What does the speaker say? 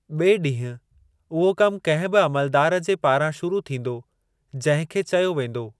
ॿिऐ ॾींहुं, उहो कमु कंहिं बि अमलदार जे पारां शुरू थींदो जंहिं खे चयो वेंदो।